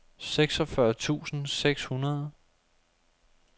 seksogfyrre tusind seks hundrede